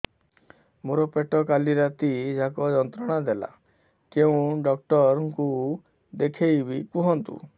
ମୋର ପେଟ କାଲି ରାତି ଯାକ ଯନ୍ତ୍ରଣା ଦେଲା କେଉଁ ଡକ୍ଟର ଙ୍କୁ ଦେଖାଇବି କୁହନ୍ତ